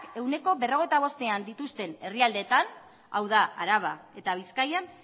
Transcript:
ehuneko berrogeita bostean dituzten herrialdeetan hau da araba eta bizkaian